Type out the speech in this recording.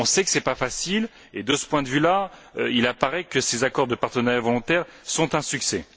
on sait que ce n'est pas facile et de ce point de vue là, il apparaît que ces accords de partenariat volontaire sont un succès.